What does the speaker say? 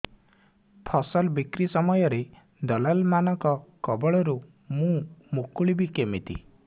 ଫସଲ ବିକ୍ରୀ ସମୟରେ ଦଲାଲ୍ ମାନଙ୍କ କବଳରୁ ମୁଁ ମୁକୁଳିଵି କେମିତି